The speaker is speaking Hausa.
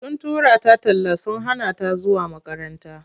Sun tura ta talla sun hana ta zuwa makaranta.